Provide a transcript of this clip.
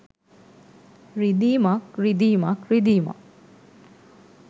රිදීමක් රිදීමක් රිදීමක්